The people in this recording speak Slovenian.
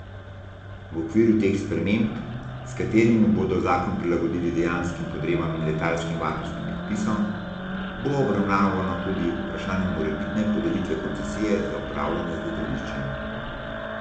V okviru teh sprememb, s katerimi bodo zakon prilagodili dejanskih potrebam in letalskim varnostnim predpisom, bo obravnavano tudi vprašanje morebitne podelitve koncesije za upravljanje z letališčem.